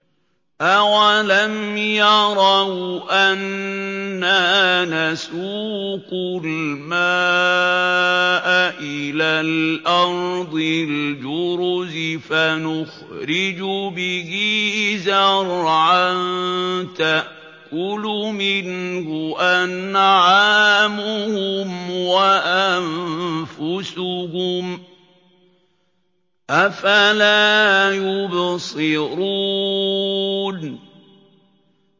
أَوَلَمْ يَرَوْا أَنَّا نَسُوقُ الْمَاءَ إِلَى الْأَرْضِ الْجُرُزِ فَنُخْرِجُ بِهِ زَرْعًا تَأْكُلُ مِنْهُ أَنْعَامُهُمْ وَأَنفُسُهُمْ ۖ أَفَلَا يُبْصِرُونَ